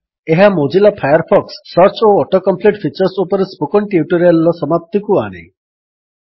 ଏହା Mozilla Firefox - search ଓ auto complete features ଉପରେ ସ୍ପୋକେନ୍ ଟ୍ୟୁଟୋରିଆଲର ସମାପ୍ତିକୁ ଆଣେ